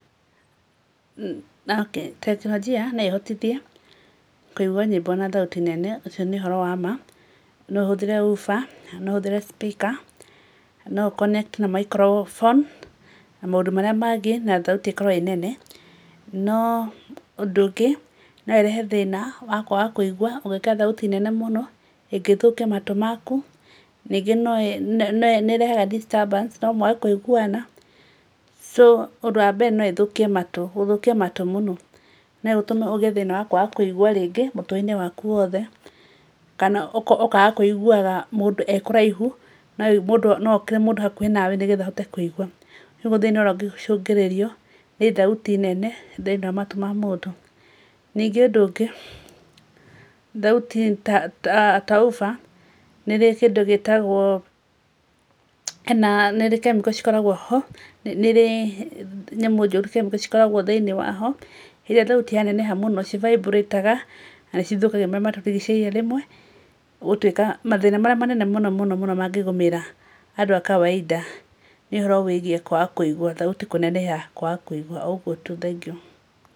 Tekinorojia no ĩhotithie kũigua nyĩmbo na thauti nene ũcio nĩ ũhoro wa ma, no ũhũthĩre hoofer na no ũhũthĩre speaker na no ũ- connect na microphone na maũndũ marĩa mangĩ na thauti ĩkorwo ĩ nene, no ũndũ ũngĩ no ĩrehe thĩna wa kwaga kũigua ũngĩkĩra thauti nene mũno ĩngĩthũkia matũ maku, ningĩ nĩĩrehaga disturbance no mwage kũiguana so ũndũ wa mbere no ĩthũkie matũ, gũthũkia matũ mũno. No ĩtũme ũgĩe thĩna wa kwaga kũigũa rĩngĩ mũtwe-inĩ waku wothe, kana ũkaga kũiguaga mũndũ e kũraihu no mũndũ hokire mũndũ hakuhĩ nawe nĩguo ũhote kũigua. Nĩguo thĩna ũrĩa ũngĩcũngĩrĩrio nĩ thauti nene thĩiniĩ wa matũ ma mũndũ. Ningĩ ũndũ ungĩ, thauti ta hoofer nĩ ĩrĩ kĩndũ gĩtagwo, hena, nĩĩrĩ chemical cikoragwo ho nĩĩrĩ nyamũ njũru chemical cikoragwo thĩinĩ waho rĩrĩa thauti yaneneha mũno ci vibrate aga na nĩcithũkagia marĩa matũrigicĩirie rĩmwe gũtuĩka mathĩna marĩa manene mũno mũno mũno mangĩgũmĩra andũ a kawaida nĩ ũhoro wĩgiĩ kwaga kũigua, thauti kũneneha kwaga kũigua o ũgũo tu, thengiũ.